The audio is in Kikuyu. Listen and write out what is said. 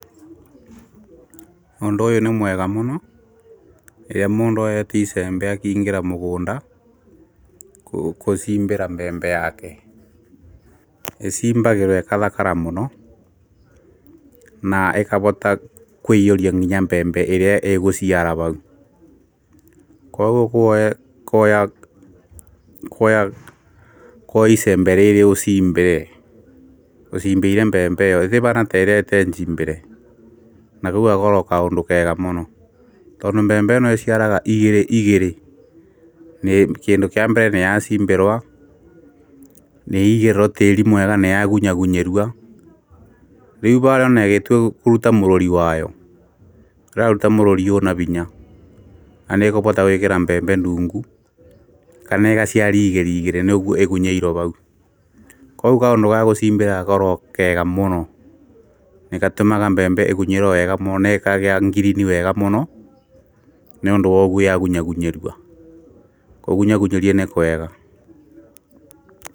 Ũndũ ũyũ nĩ mwega mũno, rĩrĩa mũndũ eti icembe akingĩra mũgũnda, kũcimbĩra mbembe yake, ĩcimbagĩrwo ĩkathakara mũno, na ĩkavota kwĩiyũria nginya mbembe ĩrĩa ĩgũciara vau. Koguo kwoya icembe rĩrĩ ũcimbĩrĩre, ũcimbĩire mbembe ĩyo ĩtivaana terei tee njimbĩre na kau gakorogo kaũndũ kega mũno, tondũ mbembe ĩno ĩciaraga igĩrĩ igĩrĩ, kĩndũ kia mbere nĩyacimbĩrwo, nĩĩigirwo tĩĩri mwega nĩyagunyagunyĩrua rĩu vava onagĩtua kũruta mũrũri wayo, ĩraruta mũrũri ũna vinya na nĩkũvota gwĩkĩra mbembe ndungu kana ĩgaciari igĩri igirĩ nĩũguo ĩgunyĩirwo vau koguo kaũndũ ga gũcimbĩra gakoragwo kega mũno nĩgatũmaga mbembe ĩgunyĩro wega mũno nekagĩa ngirini wega mũno, nĩũndũ woguo yagunyagunyĩrua. kũgunyagunyirua nĩkwega.